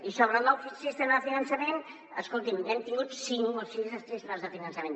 i sobre el nou sistema de finançament escolti’m n’hem tingut cinc o sis de sistemes de finançament